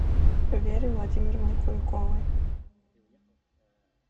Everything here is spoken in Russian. вере владимировне куликовой